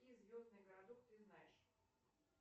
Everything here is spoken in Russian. звездный городок ты знаешь